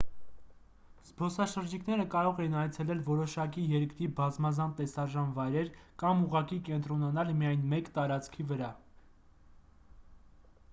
զբոսաշրջիկները կարող են այցելել որոշակի երկրի բազմազան տեսարժան վայրեր կամ ուղղակի կենտրոնանալ միայն մեկ տարածքի վրա